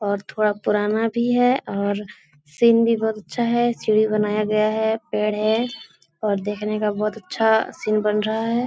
और थोड़ा पुराना भी है और सीन भी बहुत अच्छा है सीढ़ी बनाया गया है पेड़ है और देखने का बहुत अच्छा सीन बन रहा है।